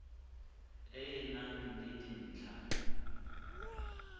e e nang le dintlha